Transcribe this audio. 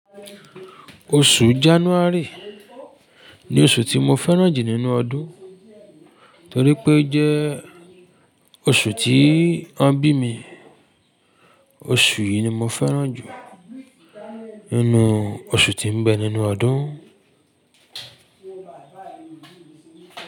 Oṣù January ni oṣù tí mo fẹ́ràn jù nínú ọdún torí pé ojẹ́ oṣù tí wọ́n bí mi. Oṣù yìí ni mo fẹ́ràn jù nínú oṣù tí ń bẹ nínú ọdún.